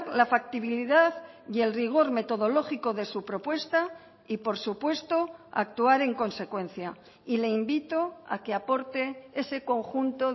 la factibilidad y el rigor metodológico de su propuesta y por supuesto a actuar en consecuencia y le invito a que aporte ese conjunto